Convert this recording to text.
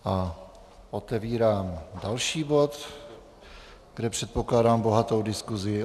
A otevírám další bod, kde předpokládám bohatou diskuzi.